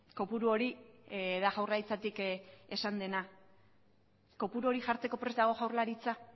kopuru hori da jaurlaritzatik esan dena kopuru hori jartzeko prest dago jaurlaritza